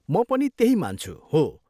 म पनि त्यही मान्छु, हो।